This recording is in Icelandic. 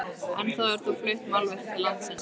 Ennþá eru þó flutt málverk til landsins.